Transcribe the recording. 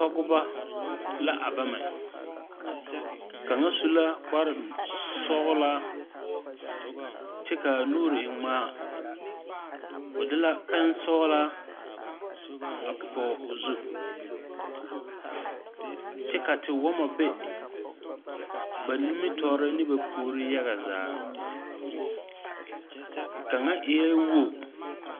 Pɔgba la a bama kanga su la kpare sɔglaa kye kaa nuuri e ngmaa ɔ de la pen sɔglaa a pɔg ɔ zu kye ka te wama be ba nimitoɔre ne ba poore yaga zaa kanga eeii wugo.